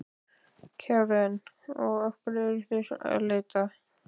Karen: Og að hverju eruð þið að leita?